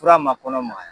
Fura ma kɔnɔ magaya